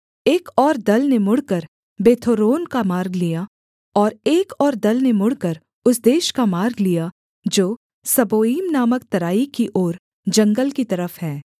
एक और दल ने मुड़कर बेथोरोन का मार्ग लिया और एक और दल ने मुड़कर उस देश का मार्ग लिया जो सबोईम नामक तराई की ओर जंगल की तरफ है